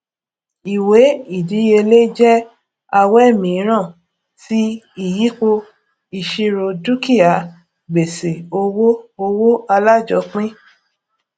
ìwé ìdíyelé jẹ awẹ mìíràn ti ìyípo ìṣirò dúkìá gbèsè owó owó alájọpín